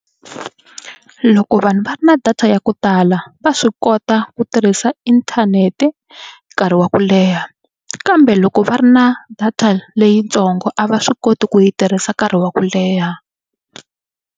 Loko vanhu va ri na data ya ku tala va swi kota ku tirhisa inthanete nkarhi wa ku leha kambe loko va ri na data leyitsongo a va swi koti ku yi tirhisa nkarhi wa ku leha.